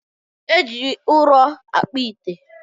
Eji ụlọ akpụ ite